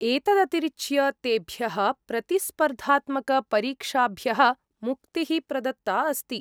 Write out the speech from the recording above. एतदतिरिच्य, तेभ्यः प्रतिस्पर्धात्मकपरीक्षाभ्यः मुक्तिः प्रदत्ता अस्ति।